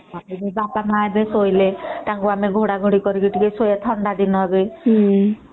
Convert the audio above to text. ବାପା ମା ଏବେ ଶୋଇଲେ ତାଙ୍କୁ ଟିକେ ଘୋଡା ଘୋଡ଼ି କରିକି ଶୋଇବା ଏବେ ବି ଥଣ୍ଡା ଦିନ ବି ହୁଁ ହଁ